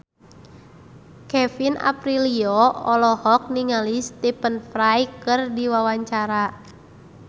Kevin Aprilio olohok ningali Stephen Fry keur diwawancara